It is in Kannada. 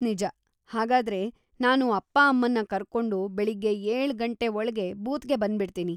ನಿಜ. ಹಾಗಾದ್ರೆ, ನಾನು ಅಪ್ಪ ಅಮ್ಮನ್ನ ಕರ್ಕೊಂಡು ಬೆಳಗ್ಗೆ ಏಳು ಗಂಟೆ ಒಳ್ಗೇ ಬೂತ್‌ಗೆ ಬಂದ್ಬಿಡ್ತೀನಿ.